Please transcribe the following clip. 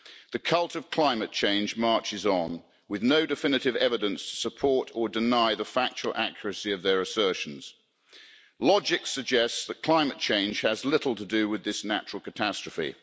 The cult of climate change marches on with no definitive evidence to support or deny the factual accuracy of their assertions. Logic suggests that climate change has little to do with this natural catastrophe.